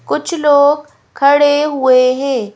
कुछ लोग खड़े हुए हैं।